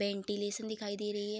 Ventilation दिखाई दे रही है।